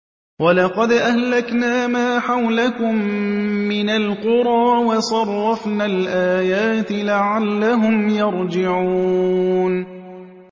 وَلَقَدْ أَهْلَكْنَا مَا حَوْلَكُم مِّنَ الْقُرَىٰ وَصَرَّفْنَا الْآيَاتِ لَعَلَّهُمْ يَرْجِعُونَ